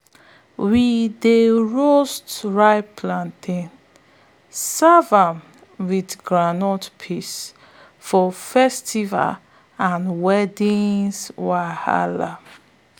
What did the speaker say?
we dey roast ripe plantain serve am with groundnut paste for festivals and weddings wahala.